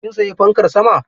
Kin sayi fankar sama?